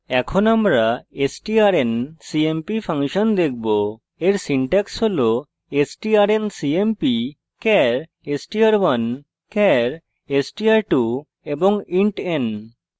এখন আমরা strncmp function দেখবো এর syntax হল strncmp char str1 char str2 int n;